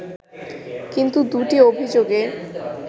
কিন্তু দু’টি অভিযোগে